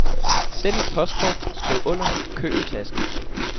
Send et postkort, skriv under, køb en taske.